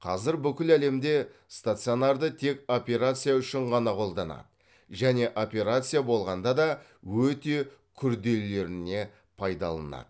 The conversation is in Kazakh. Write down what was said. қазір бүкіл әлемде стационарды тек операция үшін ғана қолданады және операция болғанда да өте күрделілеріне пайдаланады